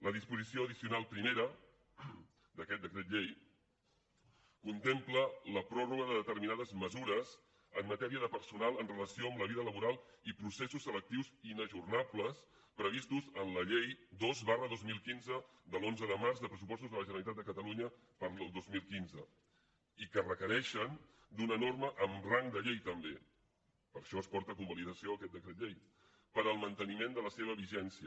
la disposició addicional primera d’aquest decret llei contempla la pròrroga de determinades mesures en matèria de personal en relació amb la vida laboral i processos selectius inajornables previstos en la llei dos dos mil quinze de l’onze de març de pressupostos de la generalitat de catalunya per al dos mil quinze i que requereixen una norma amb rang de llei també per això es porta a convalidació aquest decret llei per al manteniment de la seva vigència